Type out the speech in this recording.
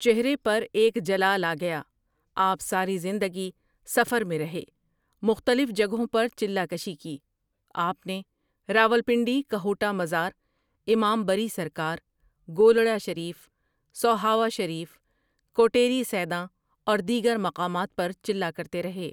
چہرے پر ایک جلال آ گیا آپؒ ساری زندگی سفرمیں رہے مختلف جگہوں پر چلہ کشی کی آپؒ نے راولپنڈی ،کہوٹہ مزار امام بری سرکارؒ، گولڑہ شریف، سوہاوہ شریف کوٹیڑی سیداں اور دیگر مقامات پر چلہ کرتے رہے ۔